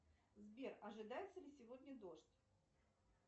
сбер ожидается ли сегодня дождь